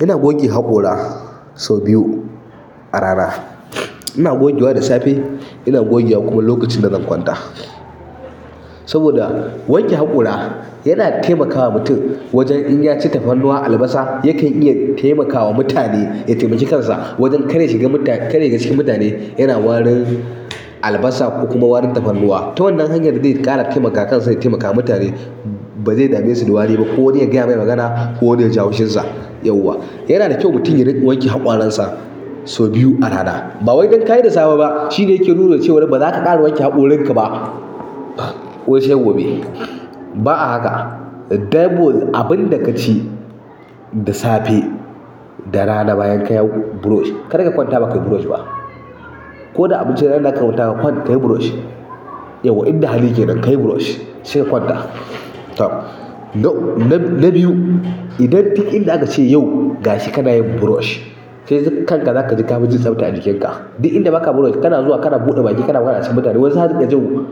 Ina goge haƙora sau biyu a rana. Ina gogewa da safe, ina gogewa kuma lokacin da zan kwanta. Saboda wanke haƙora yana taimakawa mutum wajen in ya ci tafarnuwa, albasa yakan iya taimakawa mutane ya taimaki kansa wajen kada ya shiga mutane, kada yashiga cikin mutane yana warin albasa kokuma warin tafarnuwa. Ta wannan hanyar zai ƙara taimakawa kansa ya taimakawa mutane ba zai dame su da wari ba ko wani ya gaya mai magana ko wani ya ji haushinsa, yauwa. Yana da kyau mutum ya riƙa wanke hakoransa sau biyu a rana. Bawai don kayi da safe ba shine yake nuna cewar ba za ka ƙara wanke hakorin ka ba. Ko sai gobe. Ba a haka. Saboda abin daka ci da safe, da rana bayan kayi brush, karka kwanta bakai brush ba. Ko da abincin da za kar ka kwanta kayi brush, yauwa inda hali kenan kayi brush sai ka kwanta. Tam. Na, na biyu idan duk inda aka ce yau gashi kana yin brush kai kanka za ka ji ka fi jin tsafta a jikinka. Duk inda baka brush kana zuwa kana buɗe baki kana zama acikin mutane zaka riƙa jin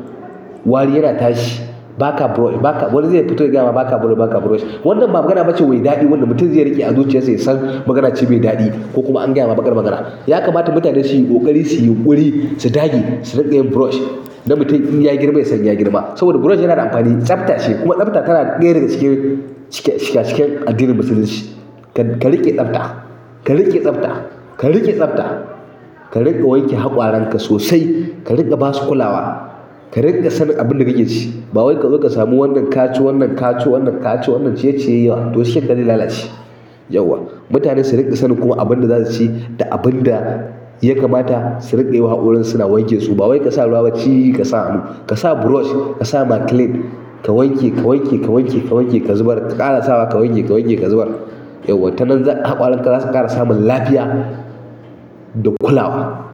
wari yana tashi. Baka brush, baka wani zai fito ya gayama baka brush, baka brush. Wannan ba magana bace mai daɗi wanda mutum zai riƙe a zuciyarsa ya san magana ce mai daɗi ko kuma an gaya ma baƙar magana. Amma ya kamata mutane suyi ƙoƙari sui yunƙuri su dage su rinƙa yin brush. Dan mutum inya girma ya san ya girma. Saboda brush yana da amfani, tsafta ce kuma tsafta tana ɗaya daga cikin shika, shikan addinin musulunci. Ka riƙi tsafta, ka riƙi tsafta, ka riƙi tsafta, ka riƙa wanke hakoranka sosai, ka riƙa ba su kulawa, ka riƙa sanin abin da kike ci. Ba wai ka zo ka samu wannan ka ci wannan ka ci wannan ka ci wannan ciye-ciye yawa to sukan lalace, yauwa. Mutane su riƙa sanin kuma abin da za su ci da abin da ya kamata su riƙewa hakoran su suna wanke su. Ba wai ka sa ruwa baciyi ka sa, ka sa brush, ka sa maclean, ka wanke, ka wanke, ka wanke, ka wanke, ka zubar, ka ƙara sawa, ka wanke, ka wanke, ka zubar. Yauwa tanan hakoranka za su ƙara samun lafiya da kulawa.